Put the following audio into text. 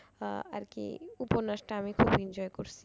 আহ আরকি উপন্যাসটা আমি খুব enjoy করছি।